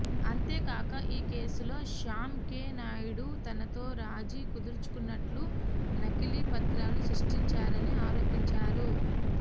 అంతేకాక ఈ కేసులో శ్యామ్ కే నాయుడు తనతో రాజీ కుదుర్చుకున్నట్లు నకిలీ పత్రాలు సృష్టించారని ఆరోపించారు